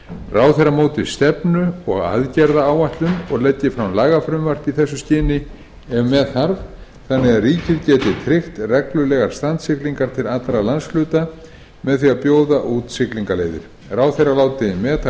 ráðherra móti stefnu og aðgerðaáætlun og leggi fram lagafrumvörp í þessu skyni ef með þarf þannig að ríkið geti tryggt reglulegar strandsiglingar til allra landshluta með því að bjóða út siglingaleiðir ráðherra láti meta